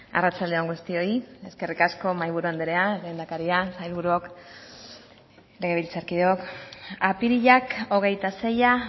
arratsalde on guztioi eskerrik asko mahaiburu andrea lehendakaria sailburuok legebiltzarkideok apirilak hogeita seia